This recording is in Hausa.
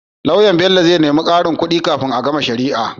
Loyan Bello zai nemi karin kudi kafin a gama shari'ar